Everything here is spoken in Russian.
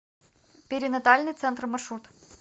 перинатальный центр маршрут